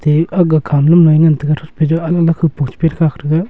ye aga khama lam loi ngantaga thakpe anula kupong che khak taga.